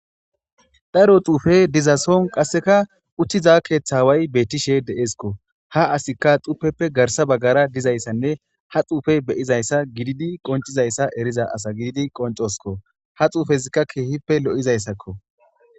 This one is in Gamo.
Daro xuufe dizason qasseka uttiza keeththa way bettishe deesikko ha asikka xupeppe garsa baggara dizayssanne ha xuufe beyizayssa gididi qoncizayssa eriza asa gididi qoncoskko ha xuufezikka keehippe lo'izayssakko.